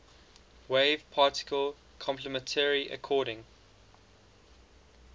wave particle complementarity according